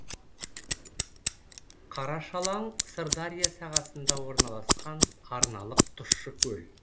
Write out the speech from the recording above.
қарашалаң сырдария сағасында орналасқан арналық тұщы көл